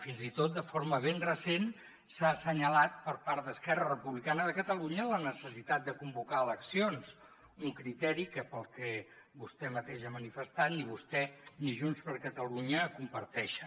fins i tot de forma ben recent s’ha assenyalat per part d’esquerra republicana de catalunya la necessitat de convocar eleccions un criteri que pel que vostè mateix ha manifestat ni vostè ni junts per catalunya comparteixen